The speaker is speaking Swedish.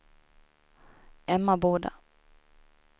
Emmaboda